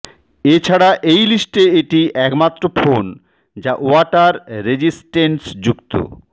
এছাড়া এই লিস্টে এটি একমাত্র ফোন যা ওয়াটার রেজিসটেন্স যুক্ত